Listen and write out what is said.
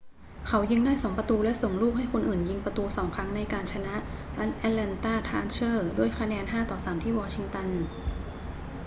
เขายิงได้ 2 ประตูและส่งลูกให้คนอื่นยิงประตู 2 ครั้งในการชนะ atlanta thrashers ด้วยคะแนน 5-3 ที่วองชิงตัน